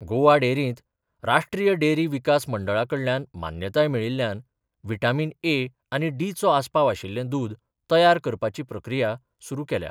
गोवा डेरींत राष्ट्रीय डेरी विकास मंडळा कडल्यान मान्यताय मेळिल्ल्यान व्हिटामीन ए आनी डीचो आस्पाव आशिल्लें दूद तयार करपाची प्रक्रिया सुरू केल्या.